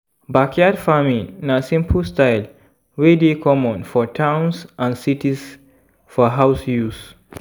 backyard farming na simple style wey dey common for towns and cities for house use